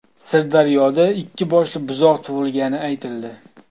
Sirdaryoda ikki boshli buzoq tug‘ilgani aytildi.